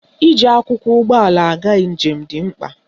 Iji akwụkwọ ụgbọala aga njem dị mkpa